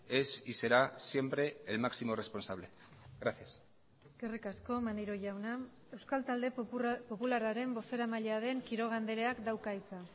es y será siempre el máximo responsable gracias eskerrik asko maneiro jauna euskal talde popularraren bozeramailea den quiroga andreak dauka hitza